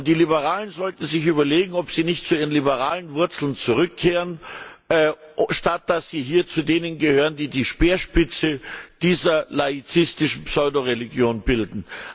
Die Liberalen sollten sich überlegen, ob sie nicht zu ihren liberalen Wurzeln zurückkehren, statt dass sie hier zu denen gehören, die die Speerspitze dieser laizistischen Pseudoreligion bilden.